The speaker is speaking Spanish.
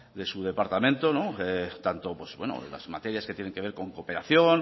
de su departamento tanto las materias que tienen que ver con cooperación